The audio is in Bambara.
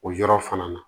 O yɔrɔ fana na